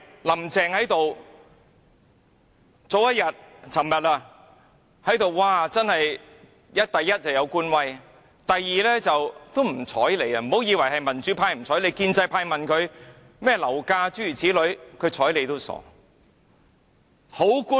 "林鄭"昨天多有官威，而且根本不理會議員的提問，不要以為是民主派，即使建制派問她樓價的問題，她理也不理。